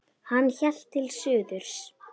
Hann hélt til suðurs.